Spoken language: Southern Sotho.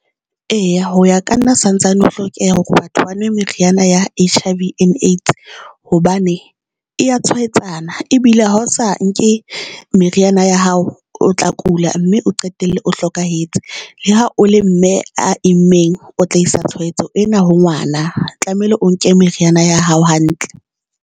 Eya, ho ya ka nna santsane ho hlokeha hore batho bano meriana ya H_I_V and A_I_D_S, hobane e ya tshwahetsana ebile ha o sa nke meriana ya hao, o tla kula mme o qetelle o hlokahetse. Le ha o le mme a imeng o tla isa tshwaetso ena ho ngwana tlamehile o nke meriana ya hao hantle.